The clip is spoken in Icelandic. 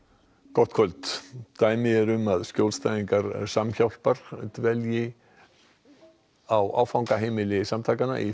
gott kvöld dæmi eru um að skjólstæðingar Samhjálpar dvelji á áfangaheimili samtakanna í